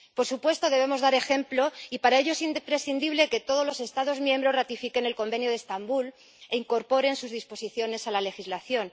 Por supuesto, debemos dar ejemplo, y para ello es imprescindible que todos los Estados miembros ratifiquen el Convenio de Estambul e incorporen sus disposiciones a la legislación.